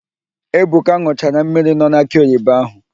Ebuka n̄ụchara mmiri nọ n'akị oyibo ahụ.